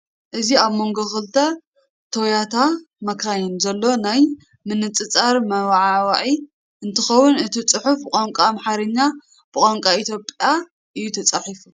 እዚ ኣብ መንጎ ኽልተ ቶዮታ ማካይን ዘሎ ናይ ምንጽጻር መወዓውዒ እንትኮውን እቲ ጽሑፍ ብቛንቋ ኣምሓርኛ ብቛንቋ ኢትዮጵያ እዩ ተፃሒፉ ።